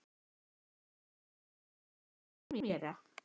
Er hann ekki eingöngu fyrir Spánverja.